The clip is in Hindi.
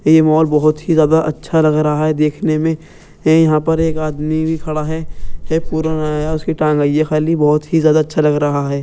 ये मॉल बहुत ही ज्यादा अच्छा लग रहा है देखने में ये यहाँ पर एक आदमी भी खड़ा है है की टांग है ये खाली बहुत ही ज्यादा अच्छा लग रहा है।